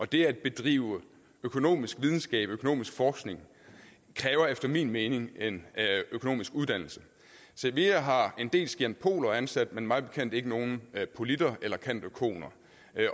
det at bedrive økonomisk videnskab økonomisk forskning kræver efter min mening en økonomisk uddannelse cevea har en del scientpoler ansat men mig bekendt ikke nogen candpoliter eller candoeconer